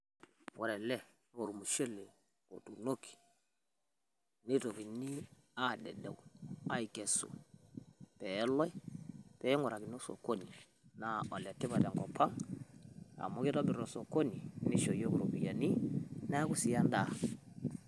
wore ele naa olmushele otunoki nitokini adedeuu akesu peloi ping'urakini osokoni naa ole tipat tenkop ang' amu kitobirr osokoni neaku sii endaa